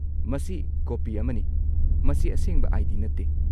ꯃꯁꯤ ꯀꯣꯄꯤ ꯑꯃꯅꯤ, ꯃꯁꯤ ꯑꯁꯦꯡꯕ ꯑꯥꯏ.ꯗꯤ. ꯅꯠꯇꯦ꯫